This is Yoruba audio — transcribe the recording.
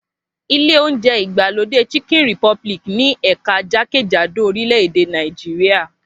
Ilé oúnjẹ ìgbàlódé Chicken Republic ní ẹ̀ka jákèjádò orílẹ̀ èdè Nàìjíríà